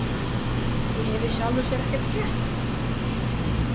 Ég hef í sjálfu sér ekkert frétt.